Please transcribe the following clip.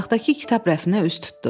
Otaqdakı kitab rəfinə üz tutdu.